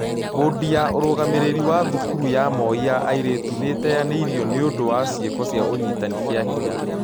Mbondi ya ũrũgamĩrĩri wa thukuru ya moi ya airĩtu nĩĩteanĩirio nĩũ ndũ wa ciĩko cia ũnyiti kĩahinya